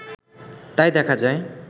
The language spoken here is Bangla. তাই দেখা যায়